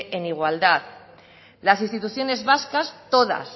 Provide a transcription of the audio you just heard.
en igualdad las instituciones vascas